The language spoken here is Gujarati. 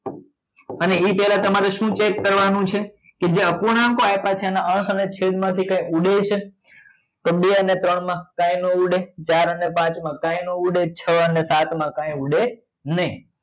અને એ પેલા તમ્રે શું check કરવા નું છે કે જે અપૂર્ણાંકો આપ્યા છે એના સમ્ય છેદ માં થી કઈ ઉડે છે તો બે અને ત્રણ માં કઈ ના ઉડેચચાર અને પાંચ માં કઈ ના ઉડે છ અને સાત માં કઈ ઉડે નહિ